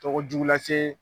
Tɔgɔ jugu lase